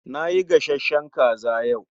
Nayi gashashen kaza yau.